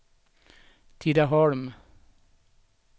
Tidaholm